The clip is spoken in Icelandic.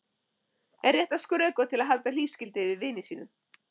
Er rétt að skrökva til að halda hlífiskildi yfir vini sínum?